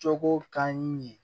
Cogo kanu ye